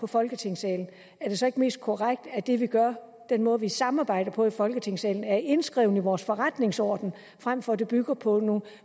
folketingssalen er det så ikke mest korrekt at det vi gør og den måde vi samarbejder på i folketingssalen er indskrevet i vores forretningsorden frem for at det bygger på nogle